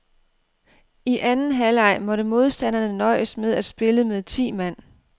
I anden halvleg måtte modstanderne nøjes med at spille med ti mand.